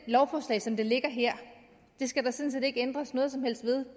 lovforslaget som det ligger her skal der sådan set ikke ændres noget som helst ved